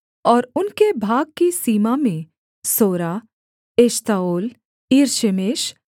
और उनके भाग की सीमा में सोरा एश्ताओल ईरशेमेश